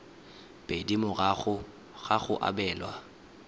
pedi morago ga go abelwa